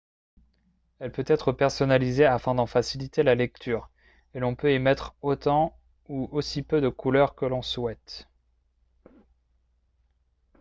elle peut être personnalisée afin d'en faciliter la lecture et l'on peut y mettre autant ou aussi peu de couleur que l'on souhaite